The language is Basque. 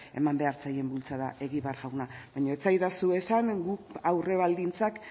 eman behar zaien bultzada egibar jauna baina ez esadazu esan guk aurrebaldintzak